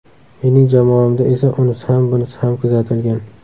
Mening jamoamda esa unisi ham bunisi ham kuzatilgan.